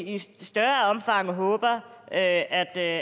i større omfang håber er at